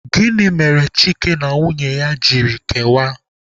Gịnị mere Chike na nwunye ya ji kewaa?